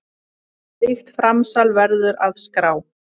Slíkt framsal verður að skrá.